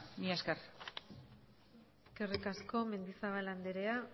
mila esker eskerrik asko mendizabal andrea